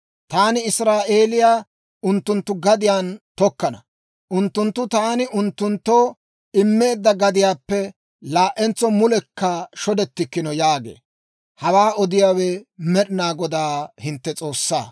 Taani Israa'eeliyaa unttunttu gadiyaan tokkana; unttunttu taani unttunttoo immeedda gadiyaappe laa"entso mulekka shodettikkino» yaagee. Hawaa odiyaawe Med'inaa Godaa hintte S'oossaa.